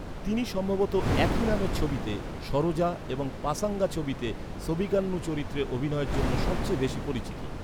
তিনি সম্ভবত একই নামের ছবিতে সরোজা এবং পাসাঙ্গা ছবিতে সোবিকান্নু চরিত্রে অভিনয়ের জন্য সবচেয়ে বেশি পরিচিত।